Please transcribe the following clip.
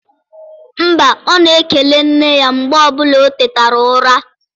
Mba, ọ na-ekele nne ya mgbe ọbụla o tetara ụra.